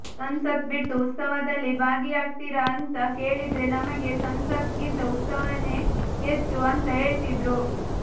ಸಂಸತ್ ಬಿಟ್ಟು ಉತ್ಸವದಲ್ಲಿ ಭಾಗಿಯಾಗ್ತಿರಾ ಅಂತ ಕೇಳೀದ್ರೆ ನಮಗೆ ಸಂಸತ್ ಗಿಂತ ಉತ್ಸವನೇ ಹೆಚ್ಚು ಅಂತ ಹೇಳ್ತಿದ್ರು